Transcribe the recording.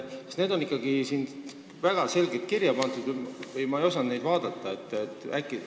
Kas need on ikkagi väga selgelt siia kirja pandud, ma ei osanud vaadata?